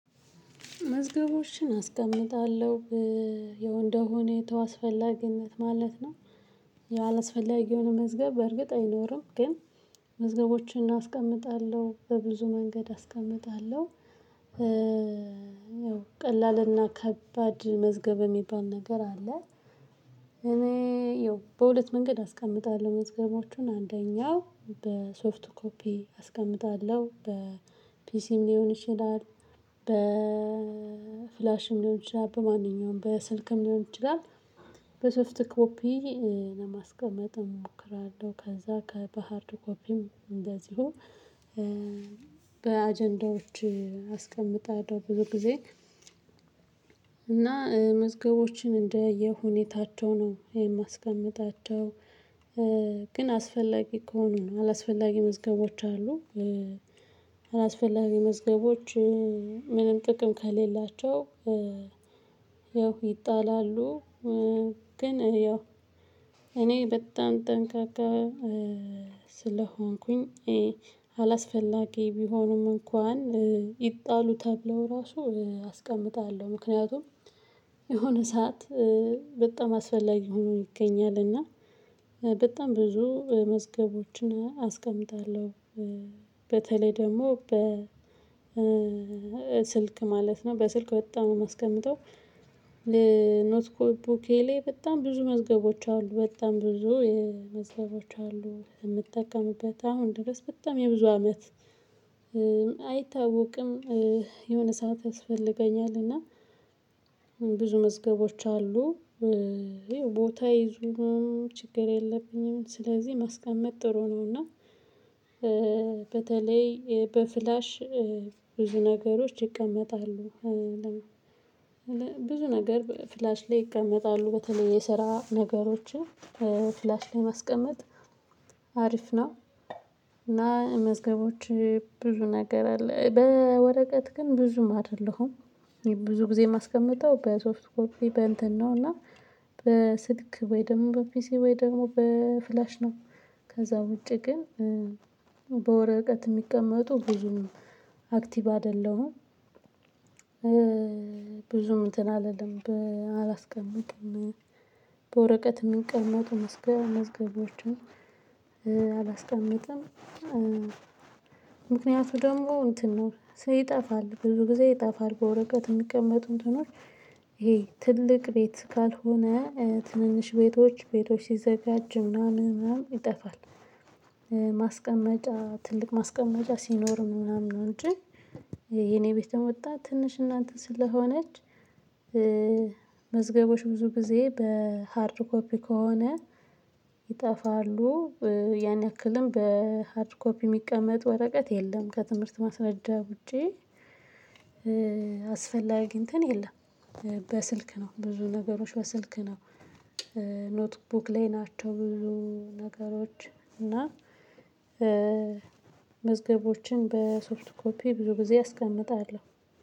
መዝገቦችን አስቀምጣለሁ ያው እንደሁኔታው አስፈላጊነት ማለት ነው። ያላስፈላጊ የሆነ መዝገብ በእርግጥ አይኖርም ግን። መዝገቦችን አስቀምጣለሁ በብዙ መንገድ አስቀምጣለሁ። ያው ቀላልና ከባድ መዝገብ የሚባል ነገር አለ። እኔ ያው በሁለት መንገድ አስቀምጣለሁ መዝገቦቹን አንደኛው በሶፍት ኮፒ አስቀምጣለሁ በፒሲም ሊሆን ይችላል በፍላሽም ሊሆን ይችላል በማንኛውም በስልክም ሊሆን ይችላል። በሶፍት ኮፒ ለማስቀመጥ እሞክራለሁ። ከዛ በሃርድ ኮፒም እንደዚሁ በአጀንዳዎች አስቀምጣለሁ ብዙ ጊዜ። እና መዝገቦችን እንደየሁኔታቸው ነው የማስቀምጣቸው። ግን አስፈላጊ ከሆኑ ነው አላስፈላጊ መዝገቦች አሉ። አላስፈላጊ መዝገቦች ምንም ጥቅም ከሌላቸው ያው ይጣላሉ። ግን ያው እኔ በጣም ጠንቃቃ ስለሆንኩኝ። አላስፈላጊ ቢሆንም እንኳን ይጣሉ ተብለው ራሱ አስቀምጣለሁ ምክንያቱም የሆነ ሰዓት በጣም አስፈላጊ ሆኖ ይገኛል። እና በጣም ብዙ መዝገቦችን አስቀምጣለሁ። በተለይ ደግሞ በ ስልክ ማለት ነው በስልክ በጣም የማስቀምጠው። ኖት ቡኬ ላይ በጣም ብዙ መዝገቦች አሉ በጣም ብዙ የመዝገቦች አሉ የምጠቀምበት አሁን ድረስ በጣም የብዙ አመት። አይታወቅም የሆነ ሰዓት ያስፈልገኛል። እና ብዙ መዝገቦች አሉ። ቦታ ነው ችግር የለብኝም ስለዚህ ማስቀመጥ ጥሩ ነው። እና በተለይ በፍላሽ ብዙ ነገሮች ይቀመጣሉ። ብዙ ነገር ፍላሽ ላይ ይቀመጣሉ በተለይ የስራ ነገሮችን ፍላሽ ላይ ማስቀመጥ አሪፍ ነው። እና መዝገቦች ብዙ ነገር አለ በወረቀት ግን ብዙም አይደለሁም። ብዙ ጊዜ የማስቀመጠው በሶፍት ኮፒ በእንትን ነው። እና በስልክ ወይ ደግሞ በፒሲ ወይ ደግሞ በፍላሽ ነው። ከዛ ውጪ ግን በወረቀት የሚቀመጡ ብዙም አክቲቭ አይደለሁም። ብዙም እንትን አልልም አላስቀምጥም። በወረቀት የሚቀመጡ መዝገብ መዝገቦችን አላስቀምጥም። ምክንያቱ ደግሞ እንትን ነው ይጠፋል ብዙ ጊዜ ይጠፋል በወረቀት የሚቀመጡ እንትኖች። ይሄ ትልቅ ቤት ካልሆነ ትንንሽ ቤቶች ቤቶች ሲዘጋጅ ምናምን ምናምን ይጠፋል። ማስቀመጫ ትልቅ ማስቀመጫ ሲኖር ምናምን ነው እንጂ የኔ ቤት ደግሞ በጣም ትንሽና እናንተ ስለሆነች። መዝገቦች ብዙ ጊዜ በሃርድ ኮፒ ከሆነ ይጠፋሉ። ያን ያክልም በሃድር ኮፒ የሚቀመጥ ወረቀት የለም ከትምህርት ማስረጃ ውጪ። አስፈላጊ እንትን የለም። በስልክ ነው ብዙ ነገሮች በስልክ ነው። ኖትቡክ ላይ ናቸው ብዙ ነገሮች እና መዝገቦችን በሶፍትድ ኮፒ ብዙ ጊዜ አስቀምጣለሁ